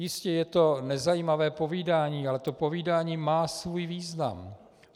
Jistě je to nezajímavé povídání, ale to povídání má svůj význam.